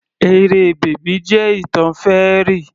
Eré bábì jẹ́ ìtàn fairy